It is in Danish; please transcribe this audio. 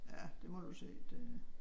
Ja det må du jo se det øh